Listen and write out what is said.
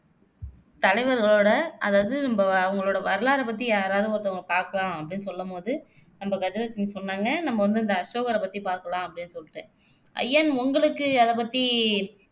தலைவர்களோட அதாவது நம்ம அவங்களோட வரலாறை பத்தி யாராவது ஒருத்தவங்க பாக்கலாம் அப்படின்னு சொல்லும் போது நம்ம கஜலட்சுமி சொன்னாங்க நம்ம வந்து இந்த அசோகரை பத்தி பாக்கலாம் அப்படின்னு சொல்லிட்டு ஐயன் உங்களுக்கு அதை பத்தி